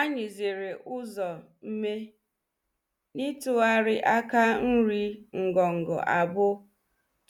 Anyi zere ụzo nme, n’ịtụgharị aka nri ngọngọ abụọ